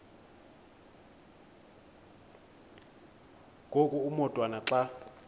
ngoku umotwana xa